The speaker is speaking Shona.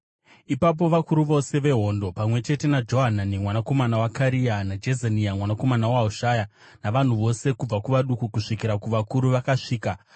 Ipapo vakuru vose vehondo, pamwe chete naJohanani mwanakomana waKarea naJezania mwanakomana waHoshaya, navanhu vose kubva kuvaduku kusvikira kuvakuru vakasvika